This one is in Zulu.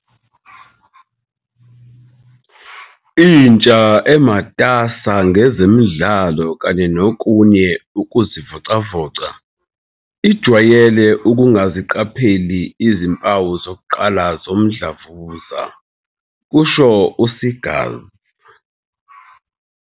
"Intsha, ematasa ngezemidlalo kanye nokunye ukuzivocavoca, ijwayele ukungaziqapheli izimpawu zokuqala zomdlavuza," kusho u-Seegers.